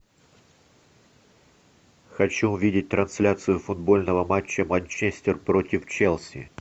хочу увидеть трансляцию футбольного матча манчестер против челси